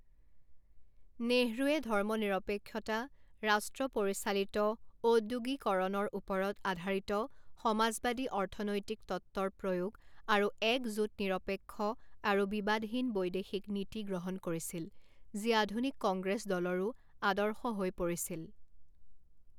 নেহৰুৱে ধৰ্মনিৰপেক্ষতা ৰাষ্ট্ৰ পৰিচালিত ঔদ্যোগিকৰণৰ ওপৰত আধাৰিত সমাজবাদী অৰ্থনৈতিক তত্ত্বৰ প্ৰয়োগ আৰু এক জোট নিৰপেক্ষ আৰু বিবাদহীন বৈদেশিক নীতি গ্ৰহণ কৰিছিল যি আধুনিক কংগ্ৰেছ দলৰো আদৰ্শ হৈ পৰিছিল।